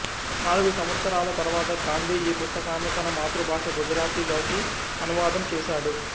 నాలుగు సంవత్సరాల తర్వాత గాంధీ ఈ పుస్తకాన్ని తన మాతృభాష గుజరాతీ లోకి అనువాదం చేశాడు